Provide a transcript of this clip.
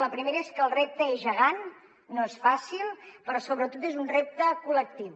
la primera és que el repte és gegant no és fàcil però sobretot és un repte col·lectiu